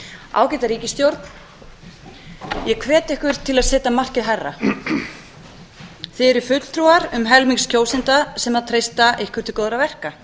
ágæta ríkisstjórn ég hvet ykkur til að setja markið hærra þið eruð fulltrúar um helmings kjósenda sem treysta ykkur til góðra verka